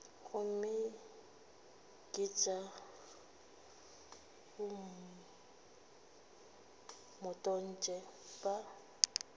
gomme ke tša bomatontshe ba